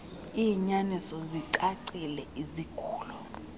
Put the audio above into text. iinyaniso zicacile izigulo